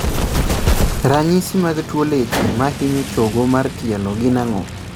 Ranyisi mag tuo leche mahinyo chogo mar tielo gin ang'o?